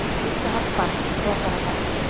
Eitt og hálft barn, réttara sagt.